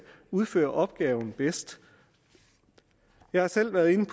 udføre opgaven bedst jeg har selv været inde